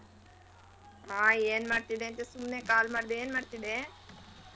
ಮಾ ಏನ್ ಮಾಡ್ತಿದ್ದೆ ಸುಮ್ನೆ call ಮಾಡ್ದೆ ಏನ್ ಮಾಡ್ತಿದ್ದೆ.